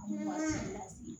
Bɔra